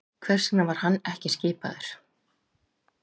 Hvers vegna var hann ekki skipaður?